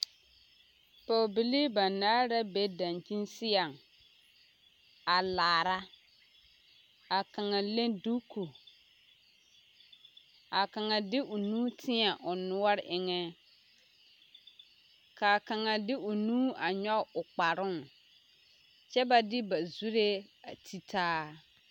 Pɔɔbilii banaare la be daŋkyini seɛŋ a laara ka kaŋa leŋ duku ka kaŋa de o nu teɛ o noɔre eŋɛ ka kaŋa de o nu nyɔɡe o kparoo kyɛ ba de ba zuree a te taa.